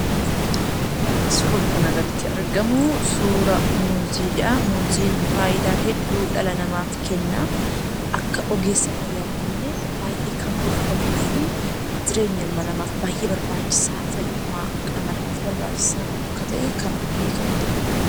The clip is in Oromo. Suurri kana gaditti argamu, suura muuziidha. Muuziin faayidaa hedduu dhala namaaf kenna. Akka ogeessa fayyaattillee baay'ee kan gorfamuu fi jireenya ilma namaaf baay'ee barbaachisaa, fayyummaa qaama namaaf barbaachisaa akka ta'e kan beekamudha.